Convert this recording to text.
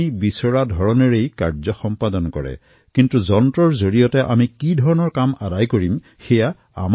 কিন্তু এয়া আমাৰ ওপৰত নিৰ্ভৰ কৰে যে আমি যন্ত্ৰটোৰ দ্বাৰা কি কাম কৰিম